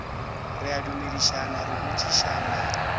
re a dumedišana re botšišana